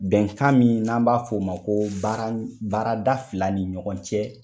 Bɛnkan min n'an b'a f'o o ma ko baara baarada fila ni ɲɔgɔn cɛ.